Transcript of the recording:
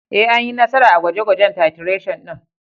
Ee, Anyi nasara a gwaje-gwajen titration din.